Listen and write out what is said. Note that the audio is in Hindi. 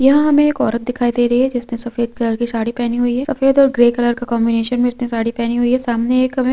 यहाँ हम एक औरत दिखाई दे रही है जिसने सफेद कलर की साड़ी पहनी हुई हैं सफेद और ग्रे कलर का कॉन्बिनेशन मे इसने साड़ी पहनी हुई हैं सामने एक हमे--